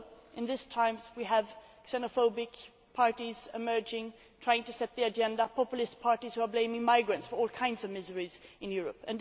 In these times we also have xenophobic parties emerging and trying to set the agenda, and populist parties who are blaming migrants for all kinds of miseries in Europe.